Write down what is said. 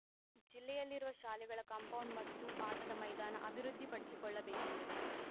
ಜಿಲ್ಲೆಯಲ್ಲಿರುವ ಶಾಲೆಗಳ ಕಾಂಪೌಂಡ್‌ ಮತ್ತು ಆಟದ ಮೈದಾನ ಅಭಿವೃದ್ಧಿ ಪಡಿಸಿಕೊಳ್ಳ ಬೇಕೆಂದರು